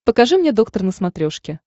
покажи мне доктор на смотрешке